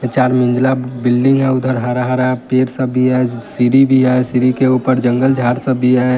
चार मंजिला बिल्डिंग है उधर हरा-हरा पेड़ सब भी है सि सीड़ी भी है सीड़ी के ऊपर जंगल-झाड़ सब भी है।